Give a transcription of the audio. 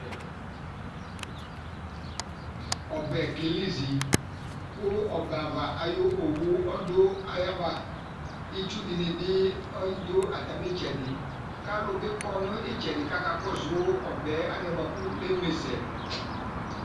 Ɔbɛ kelizi kʋ ɔbɛava ayʋ owu ɔdʋ ayava Itsu dɩnɩ bɩ ɔyɩ dʋ atamɩ ɩtsɛdɩ Kʋ alʋ bɩ kɔ nʋ ɩtsɛdɩ kʋ akakɔsʋ ɔbɛ yɛ anɛ bʋa kʋ eme sɛ